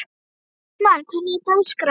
Rósmann, hvernig er dagskráin?